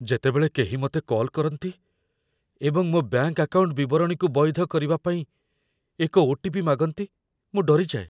ଯେତେବେଳେ କେହି ମୋତେ କଲ୍ କରନ୍ତି ଏବଂ ମୋ ବ୍ୟାଙ୍କ ଆକାଉଣ୍ଟ ବିବରଣୀକୁ ବୈଧ କରିବା ପାଇଁ ଏକ ଓ.ଟି.ପି. ମାଗନ୍ତି, ମୁଁ ଡରିଯାଏ ।